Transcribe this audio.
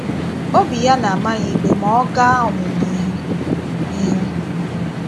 Obi ya na - ama ya ìkpè ma ọ gaa ọmụ̀mụ̀ ihè. ihè.